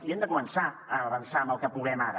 i hem de començar a avançar en el que puguem ara